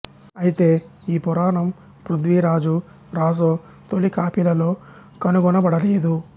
అయితే ఈ పురాణం పృథ్వీరాజు రాసో తొలి కాపీలలో కనుగొనబడలేదు